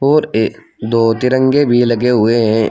और ए दो तिरंगे भी लगे हुए हैं।